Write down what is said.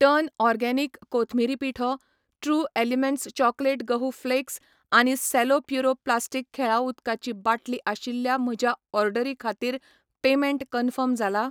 Turn organic कोथमिरी पिठो, true elements chocolate गहू फ्लेक्स आनी सेलो प्युरो प्लास्टिक खेळां उदकाची बाटली आशिल्ल्या म्हज्या ऑर्डरी खातीर पेमेंट कन्फर्म जाला ?